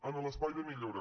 en l’espai de millora